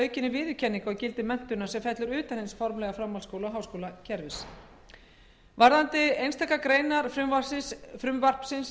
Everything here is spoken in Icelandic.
aukinni viðurkenningu á gildi menntunar sem fellur utan hins formlega framhaldsskóla og háskólakerfis varðandi einstaka greinar frumvarpsins